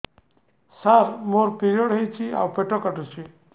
ସାର ମୋର ପିରିଅଡ଼ ହେଇଚି ଆଉ ପେଟ କାଟୁଛି